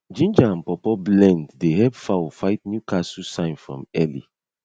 ginger and pawpaw blend dey help fowl fight newcastle sign from early